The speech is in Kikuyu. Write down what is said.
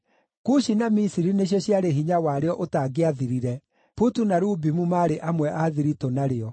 Kushi na Misiri nĩcio ciarĩ hinya warĩo ũtangĩathirire; Putu na Lubimu maarĩ amwe a thiritũ narĩo.